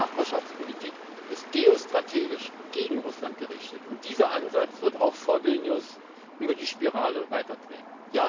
Die östliche Nachbarschaftspolitik ist geostrategisch gegen Russland gerichtet, und dieser Ansatz wird auch vor Vilnius nur die Spirale weiterdrehen.